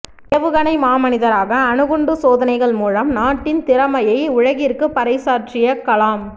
ஏவுகணை மாமனிதராக அணுகுண்டு சோதனைகள் மூலம் நாட்டின் திறமையை உலகிற்கு பறைசாற்றிய கலாம்